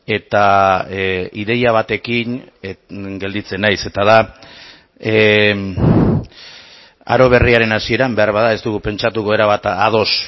eta ideia batekin gelditzen naiz eta da aro berriaren hasieran beharbada ez dugu pentsatuko erabat ados